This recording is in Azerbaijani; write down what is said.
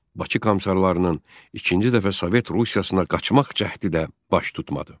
Bakı Komissarlarının ikinci dəfə Sovet Rusiyasına qaçmaq cəhdi də baş tutmadı.